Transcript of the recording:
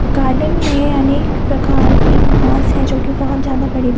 garden में अनेक प्रकार के घास है जो की बहोत ज्यादा बड़े--